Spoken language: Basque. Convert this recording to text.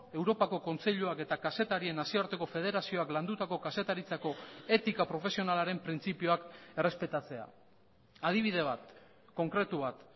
europako kontseiluak eta kazetarien nazioarteko federazioak landutako kazetaritzako etika profesionalaren printzipioak errespetatzea adibide bat konkretu bat